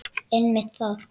Einmitt það.